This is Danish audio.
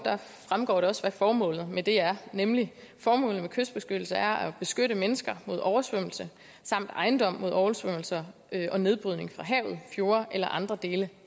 fremgår det også hvad formålet med det er formålet med kystbeskyttelse er at beskytte mennesker mod oversvømmelser samt ejendom mod oversvømmelser og nedbrydning fra havet fjorde eller andre dele